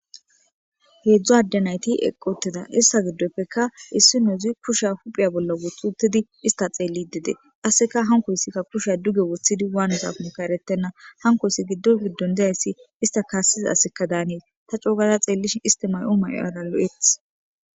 heedzdzu adde nayti eqi utida ista giddoppekka issi noozi kusha hupheya bolla wothi utidi ista xeellide qasseka hankoyssikka kusha duge wothidi waanizakonikka eretenna hankoysi giddon giddon dezayssi ista kaassiza aseka daanes ta coo gaada xeellish isti mayo ma'oara lo'etetes